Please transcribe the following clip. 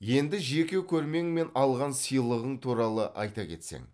енді жеке көрмең мен алған сыйлығың туралы айта кетсең